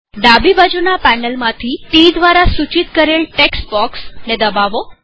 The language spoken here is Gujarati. ડાબી બાજુના પેનલમાંથી ટી દ્વારા સૂચિત કરેલ ટેક્સ્ટ બોક્ષ દબાવો